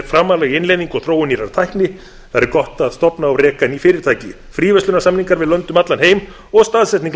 í innleiðingu og þróun nýrrar tækni þar er gott að stofna og reka ný fyrirtæki fríverslunarsamningar við lönd um allan heim og staðsetning